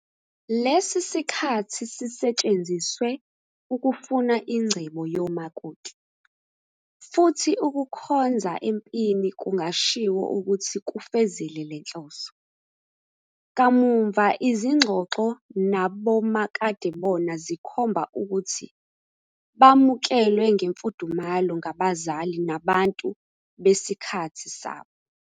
Lesi sikhathi sisetshenziswe ukufuna ingcebo yomakoti, futhi ukukhonza empini kungashiwo ukuthi kufezile le nhloso. Kamuva izingxoxo nabomakadebona zikhomba ukuthi bamukelwe ngemfudumalo ngabazali nabantu besikhathi sabo.